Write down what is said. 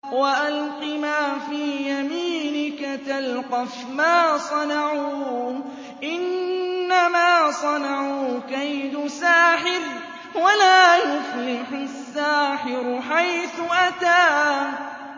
وَأَلْقِ مَا فِي يَمِينِكَ تَلْقَفْ مَا صَنَعُوا ۖ إِنَّمَا صَنَعُوا كَيْدُ سَاحِرٍ ۖ وَلَا يُفْلِحُ السَّاحِرُ حَيْثُ أَتَىٰ